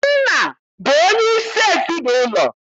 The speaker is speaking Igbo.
Nna bụ onye isi ezinaụlọ.